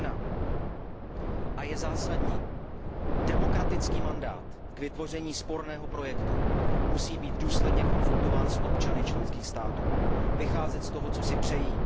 1, protože je zásadní, demokratický mandát k vytvoření sporného projektu musí být důsledně konzultován s občany členských států, vycházet z toho, co si přejí.